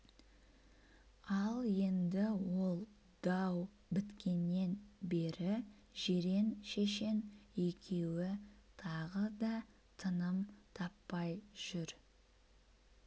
ал енді ол дау біткеннен бері жирен-шешен екеуі тағы да тыным таппай жүр